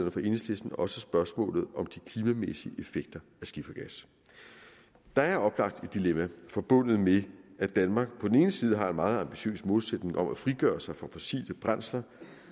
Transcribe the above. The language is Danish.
enhedslisten også spørgsmålet om de klimamæssige effekter af skifergas der er oplagt et dilemma forbundet med at danmark på den ene side har en meget ambitiøs målsætning om at frigøre sig fra fossile brændsler